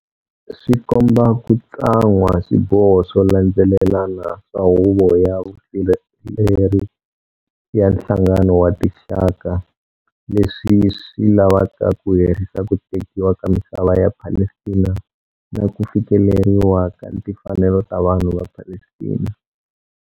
Swi komba ku tsan'wa swiboho swo landzelelana swa Huvo ya Vusirheleri ya Nhlangano wa Tinxaka leswi swi lavaka ku herisa ku tekiwa ka misava ya Palestina na ku fikeleriwa ka timfanelo ta vanhu va Palestina.